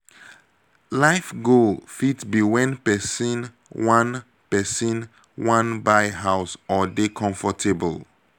life goal fit be when person wan person wan buy house or dey comfortable